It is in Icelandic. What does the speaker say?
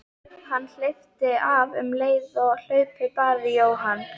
Hann hleypti af um leið og hlaupið bar í Jóhann.